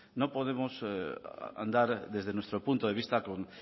no podemos andar desde nuestro punto de vista con